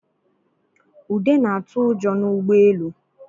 Ude na-atụ ụjọ n'ụgbọelu